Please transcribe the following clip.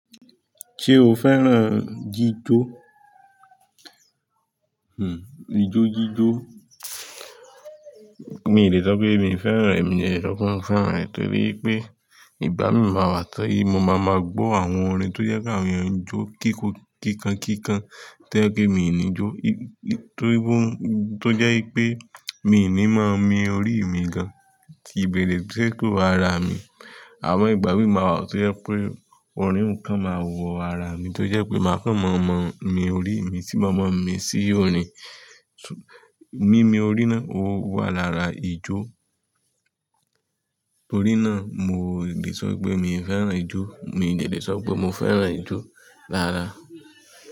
Ṣé o fẹ́ràn jijó? Hmm ijó, jijó. Mi lè sọ pé mi fẹ́ràn rẹ̀, mi dẹ̀ lè sọ pé mo fẹ́ràn rẹ̀ torí wí pé ìgbà mí máa wà tó í, mo máa ma gbọ́ àwọn orin tó jẹ́ kí àwọn èèyàn jó kíkó kíkankíkan tó jẹ́ pé mí ni jó. Torí bọ́, tó jẹ́ wí pé mi ò ní máa mi orí mi gan-an tí bẹ̀rẹ̀ tí ẹ tó ara mi. Àmọ́ ìgbà míì má wá tó jẹ́ wípé, orin kan má wọ ara mi to jẹ wípé má kan máà má mi orí mi, tí màá má mi sì orin,. Mii mi orí na, ó wà lára ijó. Torí náà mò lè sọ pé mi fẹ́ràn ijó, mi dẹ̀ lè sọ pé mo fẹ́ràn ijó rárá.